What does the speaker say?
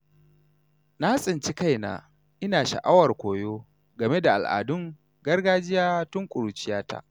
Na tsinci kaina ina sha’awar koyo game da al’adun gargajiya tun ƙuruciyata.